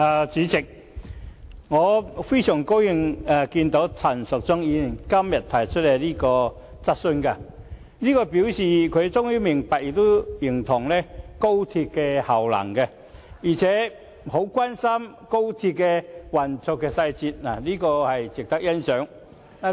主席，對於陳淑莊議員今天提出這項質詢，我感到很高興，這表示她終於明白亦認同高鐵的功能，並且十分關心高鐵的運作細節，這點值得欣賞。